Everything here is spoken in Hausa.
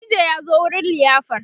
DJ ya zo wurin liyafar